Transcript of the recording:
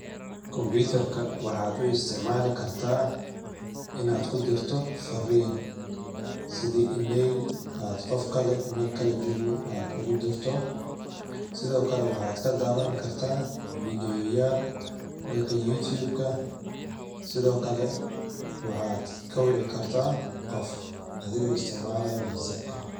Combiitar ka waxaad u isticmaali kartaa inaad ku dirto fariin ,sida e-mail aad qof kale meel kale joogo aad ugu dirto .Sidoo kale waxaad ka daawan kartaa video yaal dhanka youtube ka, sidoo kale waxaad ka wici kartaa qof adigoo isticmalaayo whatsapp ka .